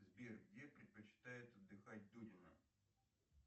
сбер где предпочитает отдыхать дудина